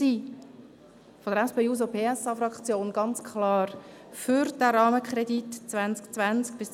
Seitens der SP-JUSO-PSA-Fraktion sind wir ganz klar für diesen Rahmenkredit 2020–2029.